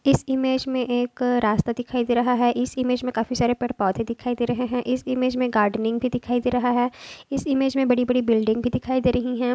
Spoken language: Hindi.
इस इमेज में एक रास्ता दिखाई दे रहा है इस इमेज में काफी सारे पेड़ पौधे दिखाई दे रहे हैं इस इमेज में गार्डनिंग भी दिखाई दे रहा हैं इस इमेज में बड़ी बड़ी बिल्डिंग भी दिखाई दे रही हैं।